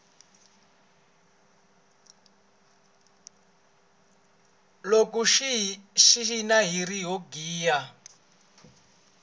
loko hi cina hiri ho giya